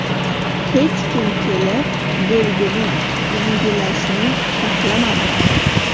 Hech kim kelib, belgini yangilashni xohlamadi.